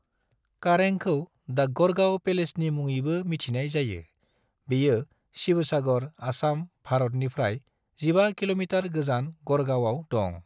करेंग'खौ द' गढ़गांव पेलेसनि मुङैबो मिथिनाय जायो, बेयो शिवसागर, आसाम, भारतनिफ्राय 15 किल'मिटार गोजान गढ़गावआव दं।